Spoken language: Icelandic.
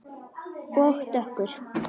Og dökkur.